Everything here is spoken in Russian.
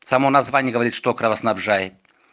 само название говорит что кровоснабжает